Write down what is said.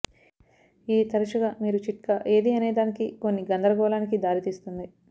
ఇది తరచుగా మీరు చిట్కా ఏది అనేదానికి కొన్ని గందరగోళానికి దారి తీస్తుంది